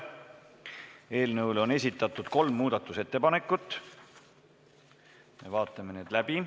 Eelnõule on esitatud kolm muudatusettepanekut, me vaatame need läbi.